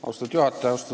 Austatud juhataja!